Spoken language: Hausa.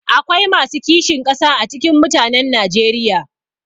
Akwai masu kishin ƙasa a cikin mutanen najeriya